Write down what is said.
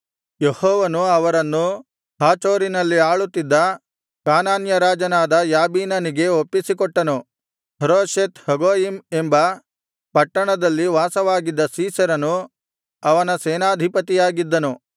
ಯೆಹೋವನು ಅವರನ್ನು ಹಾಚೋರಿನಲ್ಲಿ ಆಳುತ್ತಿದ್ದ ಕಾನಾನ್ಯ ರಾಜನಾದ ಯಾಬೀನನಿಗೆ ಒಪ್ಪಿಸಿಕೊಟ್ಟನು ಹರೋಷೆತ್ ಹಗೊಯಿಮ್ ಎಂಬ ಪಟ್ಟಣದಲ್ಲಿ ವಾಸವಾಗಿದ್ದ ಸೀಸೆರನು ಅವನ ಸೇನಾಧಿಪತಿಯಾಗಿದ್ದನು